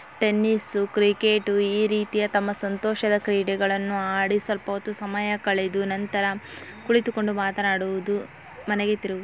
tennis cricket ಈ ರೀತಿಯ ತಮ್ಮ ಸಂತೋಷದ ಕ್ರೀಡೆಗಳನ್ನುಆಡಿಸಲ್ಪ ಸಮಯ ಕಳೆದು ನಂತರ ಕುಳಿತುಕೊಂಡು ಮಾತನಾಡುವದು ಮನೆಗೆ ತೀರು --